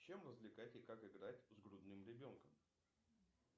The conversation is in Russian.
чем развлекать и как играть с грудным ребенком